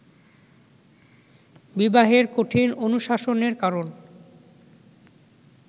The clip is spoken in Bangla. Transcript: বিবাহের কঠিন অনুশাসনের কারণ